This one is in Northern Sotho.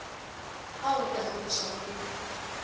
ao re a hlorišago ke